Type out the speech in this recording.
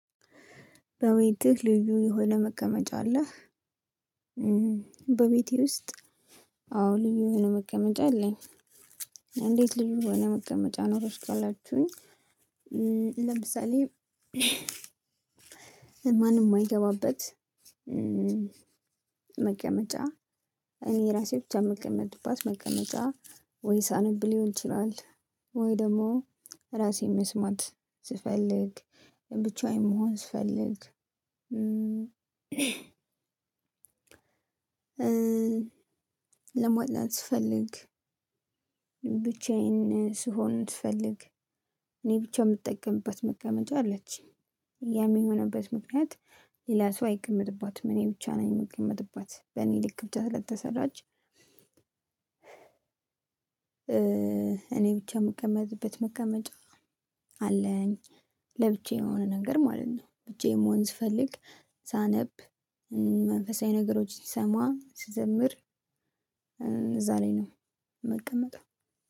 በቤትህ ልዩ የሆነ መቀመጫ አለህ? በቤቴ ውስጥ አዎ ልዩ የሆነ መቀመጫ አለኝ። እንዴት ልዩ የሆነ መቀመጫ ኖረሽ ካላችሁኝ? ለምሳሌ ማንም የማይገባበት መቀመጫ። እኔ ራሴ ብቻ የምቀመጥባት መቀመጫ ወይ ሳነብ ሊሆን ይችላል። ወይ ደግሞ ራሴን መስማት ስፈልግ ብቻዬን መሆን ስፈልግ ልስፈልግ ስፈልግ ብቻዬን ስሆን ስፈልግ። እኔ ብቻ የምጠቀምበት መቀመጫ አለች። ያ የሚሆንበት ምክንያት ሌላ ሰው አይቀመጥባትም እኔ ብቻ ነኝ የምቀመጥባት በእኔ ልክ ብቻ ስለተሰራች። እኔ ብቻ የምቀመጥበት መቀመጫ አለኝ። ለብቻዬ የሆነ ነገር ማለት ነው። ብቻዬን መሆን ስፈልግ ሳነብ መንፈሳዊ ነገሮች ሲሰማ ሲዘምር እዛ ላይ ነው። ምቀመጠው።